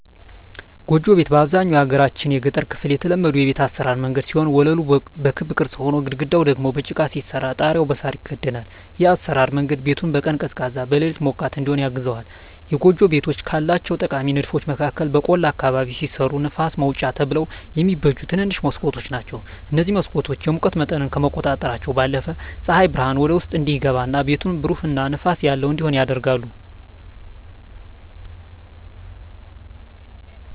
ጎጆ ቤት በአብዛኛው የሀገራችን የገጠር ክፍል የተለመዱ የቤት አሰራር መንገድ ሲሆን ወለሉ በክብ ቅርጽ ሆኖ፣ ግድግዳው ደግሞ በጭቃ ሲሰራ ጣሪያው በሳር ይከደናል። ይህ የአሰራር መንገድ ቤቱን በቀን ቀዝቃዛ፣ በሌሊት ሞቃት እዲሆን ያግዘዋል። የጎጆ ቤቶች ካላቸው ጠቃሚ ንድፎች መካከል በቆላ አካባቢ ሲሰሩ ለንፋስ ማውጫ ተብለው የሚበጁ ትንንሽ መስኮቶች ናቸዉ። እነዚህ መስኮቶች የሙቀት መጠንን ከመቆጣጠራቸው ባለፈም ፀሐይ ብርሃን ወደ ውስጥ እንዲገባ እና ቤቱን ብሩህ እና ንፋስ ያለው እንዲሆን ያደርጋሉ።